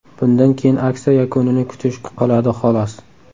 Bundan keyin aksiya yakunini kutish qoladi, xolos.